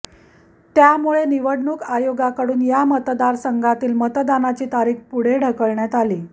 त्यामुळे निवडणूक आयोगाकडून या मतदारसंघातील मतदानाची तारीख पुढे ढकलण्यात आली